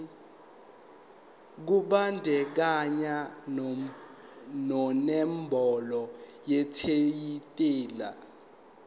kubandakanya nenombolo yetayitela